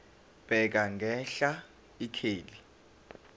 bheka ngenhla ikheli